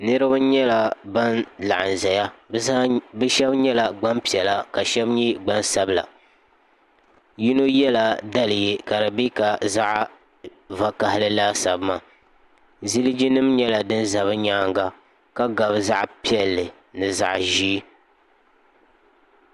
niraba nyɛla ban laɣam ʒɛya bi shab nyɛla gbanpiɛla ka shab nyɛ gbansabila yino yɛla daliya ka di bɛ ka zaɣ vakaɣali laasabu maa zilji nim nyɛla din ʒɛ bi nyaanga ka gabi zaɣ piɛlli ni zaɣ ʒiɛ